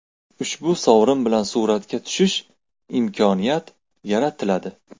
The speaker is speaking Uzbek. Ushbu sovrin bilan suratga tushish imkoniyat yaratiladi.